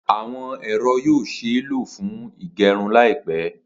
Awọn ẹrọ yoo ṣee lo fun ígẹrun laipẹ.